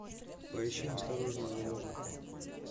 поищи осторожно заложник